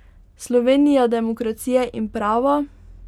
Slovenija demokracije in prava?